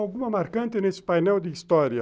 Alguma marcante nesse painel de história?